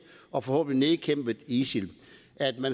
og forhåbentlig nedkæmpet isil